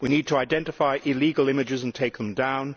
We need to identify illegal images and take them down.